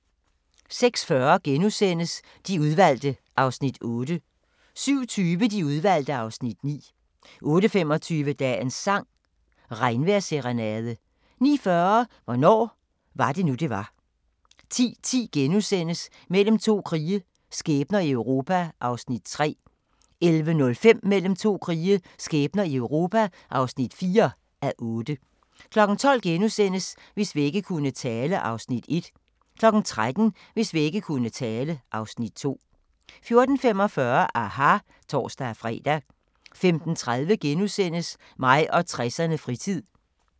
06:40: De Udvalgte (Afs. 8)* 07:20: De Udvalgte (Afs. 9) 08:25: Dagens sang: Regnvejrsserenade 09:40: Hvornår var det nu det var 10:10: Mellem to krige – skæbner i Europa (3:8)* 11:05: Mellem to krige – skæbner i Europa (4:8) 12:00: Hvis vægge kunne tale (Afs. 1)* 13:00: Hvis vægge kunne tale (Afs. 2) 14:45: aHA! (tor-fre) 15:30: Mig og 60'erne: Fritid *